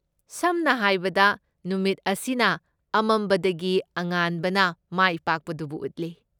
ꯁꯝꯅ ꯍꯥꯏꯕꯗ, ꯅꯨꯃꯤꯠ ꯑꯁꯤꯅ ꯑꯃꯝꯕꯗꯒꯤ ꯑꯉꯥꯟꯕꯅ ꯃꯥꯏꯄꯥꯛꯄꯗꯨꯕꯨ ꯎꯠꯂꯤ꯫